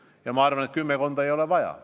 Ja ma arvan, et päris kümmekonda ei ole vaja.